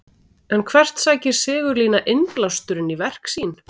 En hvert sækir Sigurlína innblásturinn í verk sín?